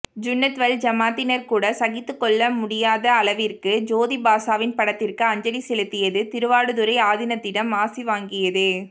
சுன்னத்வல் ஜமாத்தினர் கூட சகித்துக்கொள்ளமுடியாத அளவிற்க்கு ஜோதிபாசவின் படத்திற்க்கு அஞ்சலி செலுத்தியது திருவாடுதுறை ஆதினத்திடம் ஆசி வாங்கியது